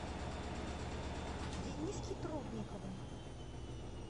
дениске трубникову